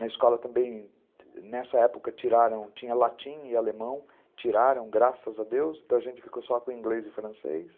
Na escola também, nessa época, tiraram, tinha latim e alemão, tiraram, graças a Deus, então a gente ficou só com inglês e francês.